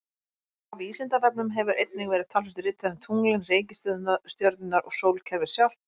Á Vísindavefnum hefur einnig verið talsvert ritað um tunglin, reikistjörnurnar sem og sólkerfið sjálft.